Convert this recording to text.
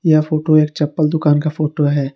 यह फोटो एक चपल दुकान का फोटो हैं।